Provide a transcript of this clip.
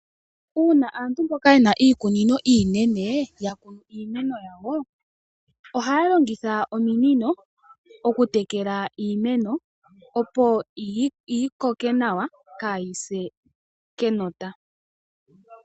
Uuna aantu mboka yena iikunino iinene yakunu iimeno yawo, ohaya longitha ominino okutekela iimeno opo yikoke nawa kaayi se kenota.